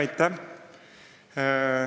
Aitäh!